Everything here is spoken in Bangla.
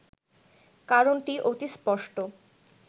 কারণটি অতি স্পষ্ট